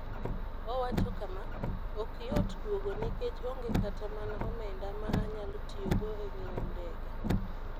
Owacho kama: "Ok yot duogo nikech onge kata mana omenda ma anyalo tiyogo e ng'iewo ndege.